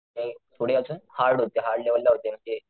ते पुढे अजून हार्ड होती हार्ड लेवल ला होती म्हणजे,